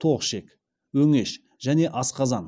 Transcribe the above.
тоқ ішек өңеш және асқазан